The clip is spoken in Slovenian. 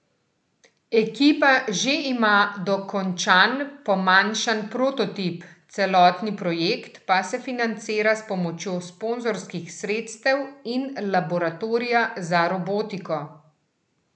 Ekipa že ima dokončan pomanjšan prototip, celotni projekt pa se financira s pomočjo sponzorskih sredstev in laboratorija za robotiko.